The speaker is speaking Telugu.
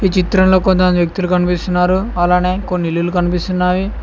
చిత్రంలో కొంతమంది వ్యక్తులు కనిపిస్తున్నారు అలానే కొన్ని ఇల్లులు కనిపిస్తున్నాయి.